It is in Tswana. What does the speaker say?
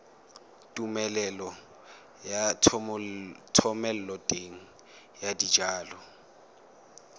tumelelo ya thomeloteng ya dijalo